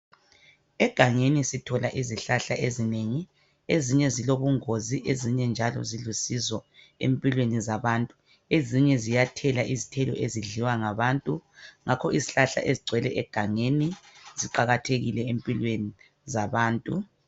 Egangeni sithole izihlahla ezinengi. Ezinye zilobungozi, ezinye njalo zilusizo empilweni zabantu. Ezinye ziyathela izithelo ezidliwa ngabantu. Ngakho izihlahla ezigcwele egangeni ziqakathekile empilweni zabantu.